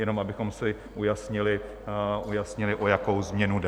Jenom abychom si ujasnili, o jakou změnu jde.